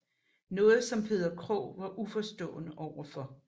Noget som Peder Krog var uforstående overfor